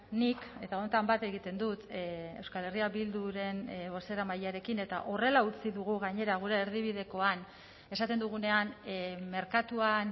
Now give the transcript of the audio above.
nik eta honetan bat egiten dut euskal herria bilduren bozeramailearekin eta horrela utzi dugu gainera gure erdibidekoan esaten dugunean merkatuan